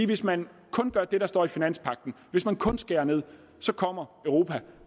hvis man kun gør det der står i finanspagten hvis man kun skærer ned så kommer europa